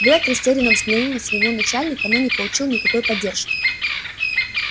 блэк растерянно взглянул на своего начальника но не получил никакой поддержки